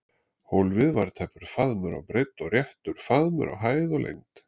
Hólfið var tæpur faðmur á breidd og réttur faðmur á hæð og lengd.